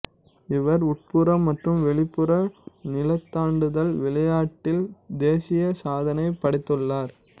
இவர் உட்புற மற்றும் வெளிப்புற நீளந்தாண்டுதல் விளையாட்டில் தேசிய சாதனை படைத்துள்ளார்